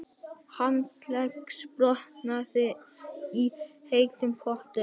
Handleggsbrotnaði í heitum potti